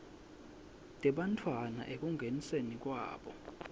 tebantfwana ekungeniseni kwabo